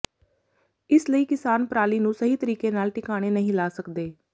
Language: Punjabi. ਇਸ ਲਈ ਕਿਸਾਨ ਪਰਾਲੀ ਨੂੰ ਸਹੀ ਤਰੀਕੇ ਨਾਲ ਟਿਕਾਣੇ ਨਹੀਂ ਲਾ ਸਕਦੇ